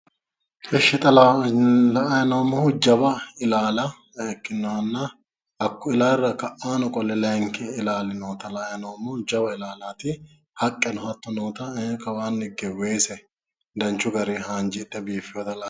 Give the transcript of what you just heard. Eshsh xa la'ayi noommohu jawa ilaala ikkinohonna hakku ilaalira ka'aanni qole layinki ilaali noota la'at noommo jawa ilaalati haqqeno hatto noota kawaanni higge weese danchu garii haanjidhe biiffewota la'ayi